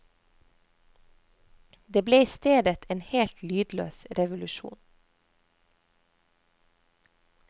Det ble i stedet en helt lydløs revolusjon.